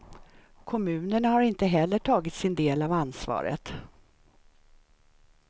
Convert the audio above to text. Kommunerna har inte heller tagit sin del av ansvaret.